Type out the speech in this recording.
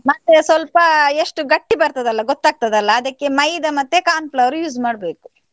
ಮತ್ತೆ ಸ್ವಲ್ಪ ಎಷ್ಟು ಗಟ್ಟಿ ಬರ್ತದಲ್ಲ ಗೊತ್ತಾಗ್ತದಲ್ಲ, ಅದಕ್ಕೆ ಮೈದ ಮತ್ತು corn flour use ಮಾಡ್ಬೇಕು.